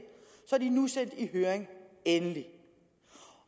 så er de nu sendt i høring endelig